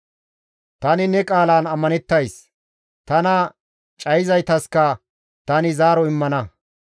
Tani ne qaalan ammanettays; tana cayizaytaska tani zaaro immana.